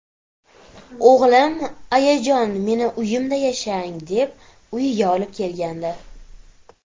O‘g‘lim ayajon meni uyimda yashang, deb uyiga olib kelgandi.